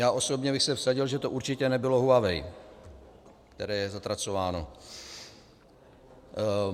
Já osobně bych se vsadil, že to určitě nebylo Huawei, které je zatracováno.